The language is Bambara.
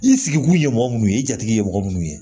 I sigi kun ye mɔgɔ minnu ye i jatigi ye mɔgɔ munnu ye